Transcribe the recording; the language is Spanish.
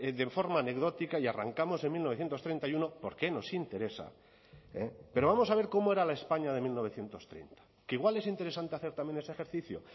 de forma anecdótica y arrancamos en mil novecientos treinta y uno porque nos interesa pero vamos a ver cómo era la españa de mil novecientos treinta que igual es interesante hacer también ese ejercicio